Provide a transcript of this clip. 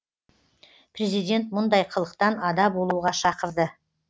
президент мұндай қылықтан ада болуға шақырды